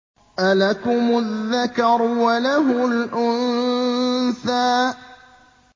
أَلَكُمُ الذَّكَرُ وَلَهُ الْأُنثَىٰ